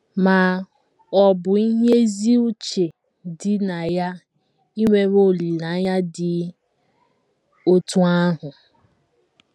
Ma, ọ̀ bụ ihe ezi uche dị na ya inwewe olileanya dị otú ahụ?